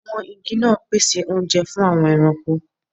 Àwọn igi náà pèsè oúnjẹ fún àwọn ẹranko